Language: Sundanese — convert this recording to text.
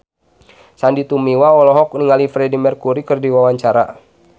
Sandy Tumiwa olohok ningali Freedie Mercury keur diwawancara